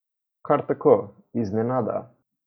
Kar tako, iznenada.